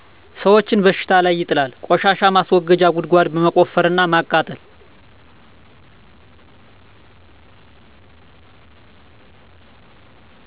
ሰወችን በሽታ ላይ ይጥላል : ቆሻሻ ማስወገጃ ጉድጓድ መቆፈር እና ማቃጠል